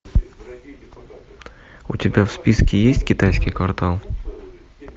у тебя в списке есть китайский квартал